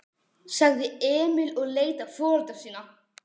sagði Emil og leit á foreldra sína.